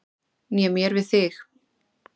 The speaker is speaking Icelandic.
Né mér við þig.